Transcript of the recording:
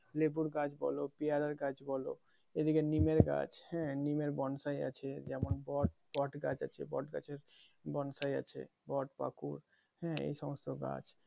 লেবুর গাছ বলো পেয়ারার গাছ বলো এদিকে নিমের গাছ হ্যাঁ নিমের বনসাই আছে যেমন বট গাছে বট গাছের বোনসাই আছে বট হ্যাঁ এই সমস্ত গাছ।